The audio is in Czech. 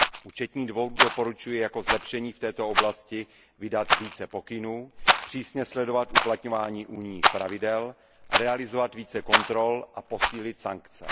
Účetní dvůr doporučuje jako zlepšení v této oblasti vydat více pokynů, přísně sledovat uplatňování unijních pravidel, realizovat více kontrol a posílit sankce.